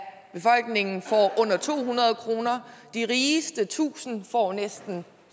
befolkningen får under to hundrede kroner og de rigeste tusind får næsten